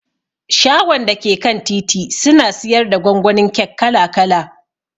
Shagon dake kan titi suna siyarda gwangwanin kek kala kala.